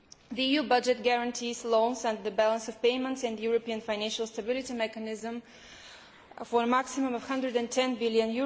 The EU budget guarantees loans and the balance of payments in the European Financial Stability Mechanism for a maximum of EUR 110 billion.